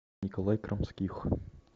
николай крамских